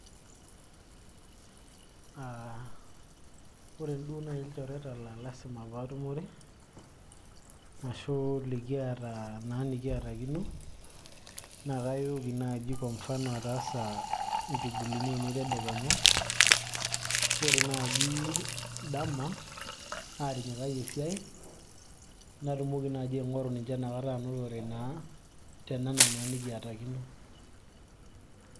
uh, ore duo naaji ilchoreta laa lasima paatumore ashu likiata naa nikiatakino naa kayooki naaji kwa mfano ataasa inchugulini ainei tedekenya ore naaji dama aatinyikayie esiai natumoki naaji aing'oru ninche nakata anotore naa tenana naa nikiatakino.